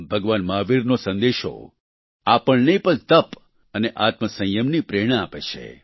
ભગવાન મહાવીરનો સંદેશો આપણને તપ અને આત્મ સંયમની પ્રેરણા આપે છે